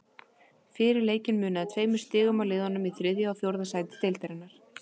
Fyrir leikinn munaði tveimur stigum á liðunum í þriðja og fjórða sæti deildarinnar.